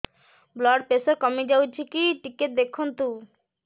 blood pressure କମି ଯାଉଛି କି ଟିକେ ଦେଖନ୍ତୁ